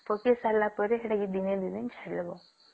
ପକେଇ ସରିଲା ପରେ ସେଟା ଦିନେ କି ଦୁଇ ଦିନ ଛାଡିଦେବୁ